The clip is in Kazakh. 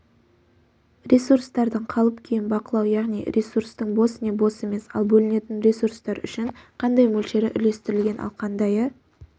ресурстардың қалып-күйін бақылау яғни ресурстың бос не бос емес ал бөлінетін ресурстар үшін қандай мөлшері үлестірілген ал қандайы